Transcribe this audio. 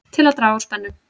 Til að draga úr spennu